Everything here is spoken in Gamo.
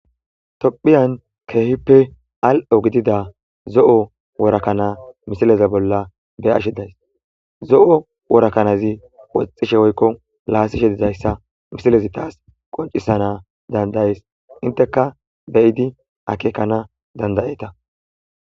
tophiyan keehippe al7o gidida zo7o worakana misileza bolla be ashedays zo7o worakanazi woxishe oykko laasishe dizayssa misilezi taas qoncisana dandaes inteka beyidi akekana dandayeeta